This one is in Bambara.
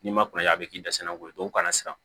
N'i ma kuna ya a bɛ k'i dɛsɛlaw ye dɔw kana siran